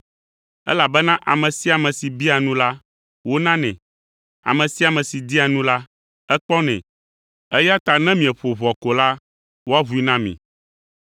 Elabena ame sia ame si biaa nu la, wonanɛ; ame sia ame si dia nu la, ekpɔnɛ, eya ta ne mieƒo ʋɔa ko la, woaʋui na mi.